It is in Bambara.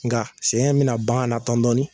Nga sɛgɛn in bina ban na dɔn dɔnin